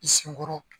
I senkɔrɔ